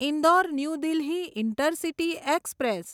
Indore new Delhi intercity express